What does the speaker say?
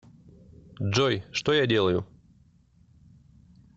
джой что я делаю